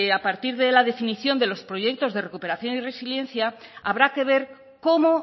a partir de la definición de los proyectos de recuperación y resiliencia habrá que ver cómo